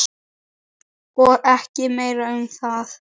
Og ekki meira um það.